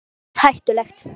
Birta: Ekki eins hættuleg?